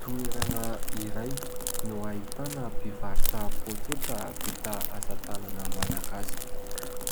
Toerana iray no ahitana mpivarotra pôketra vita asa tanana malagasy.